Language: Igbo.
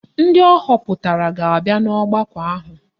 Ndị ahọpụtara ga-abịa ọgbakọ ahụ